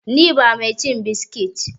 ni ba ma cin biskit!